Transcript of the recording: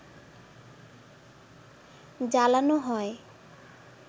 জ্বালানো হয়